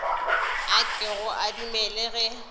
a kego a dumele ge